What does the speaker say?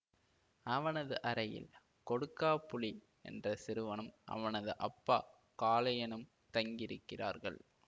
அவனது அறையில் கொடுக்காபுளி என்ற சிறுவனும் அவனது அப்பா காளையனும் தங்கியிருக்கிறார்கள்